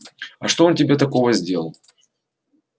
а что он тебе такого сделал